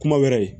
Kuma wɛrɛ